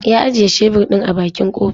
Ya ajiye shebur ɗin a bakin kofa.